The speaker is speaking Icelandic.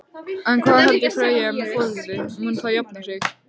En hvað heldur Freyja með folaldið, mun það jafna sig?